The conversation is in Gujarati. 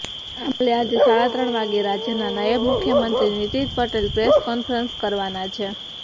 આ મામલે આજે સાડા ત્રણ વાગ્યે રાજ્યના નાયબ મુખ્યમંત્રી નીતિન પટેલ પ્રેસ કોન્ફરન્સ કરવાના છે